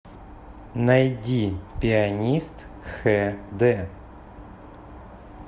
найди пианист хд